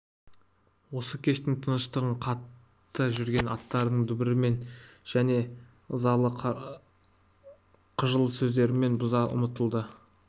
осы кештің тыныштығын қатты жүрген аттарының дүбірімен және ызалы қыжыл сөздерімен бұза ұмтылады